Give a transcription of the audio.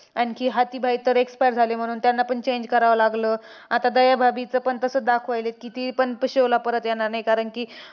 आणखी हाथीभाई तर expire झाले. म्हणून त्यांनापण change करावं लागलं. आता दयाभाभीचं पण तसंच दाखवलंय की, तीपण show ला परत येणार नाही. कारण की,